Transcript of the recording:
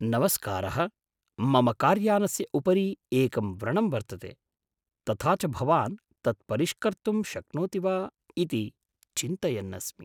नमस्कारः मम कार्यानस्य उपरि एकं व्रणं वर्तते, तथा च भवान् तत् परिष्कर्तुं शक्नोति वा इति चिन्तयन् अस्मि।